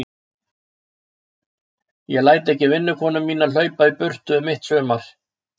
Ég læt ekki vinnukonuna mína hlaupa í burtu um mitt sumar.